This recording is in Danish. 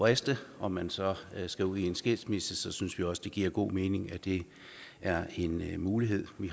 briste og man så skal ud i en skilsmisse så synes vi også det giver god mening at det er en mulighed